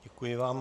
Děkuji vám.